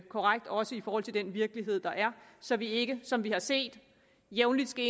korrekt også i forhold til den virkelighed der er så vi ikke som vi har set jævnligt skal